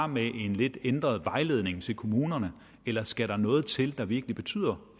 med en lidt ændret vejledning til kommunerne eller skal der noget til der virkelig betyder